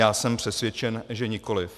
Já jsem přesvědčen, že nikoliv.